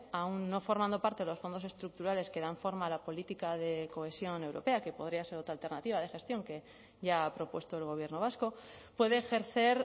aún no formando parte de los fondos estructurales que dan forma a la política de cohesión europea que podría ser otra alternativa de gestión que ya ha propuesto el gobierno vasco puede ejercer